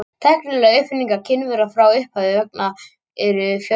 Tæknilegar uppfinningar Kínverja frá upphafi vega eru fjölmargar.